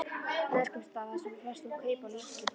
Neskaupstað þar sem við festum kaup á lítilli íbúð.